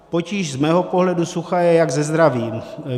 Potíž z mého pohledu sucha je jak se zdravím.